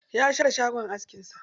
Ya share shagon askin sa.